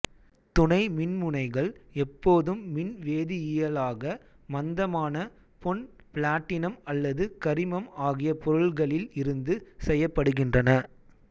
துனை மின்முனைகள் எப்போதும் மின்வேதியியலாக மந்தமான பொன் பிளாட்டினம் அல்லது கரிமம் அகிய பொருள்களில் இருந்து செய்யப்படுகின்றன